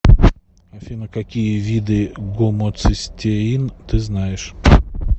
афина какие виды гомоцистеин ты знаешь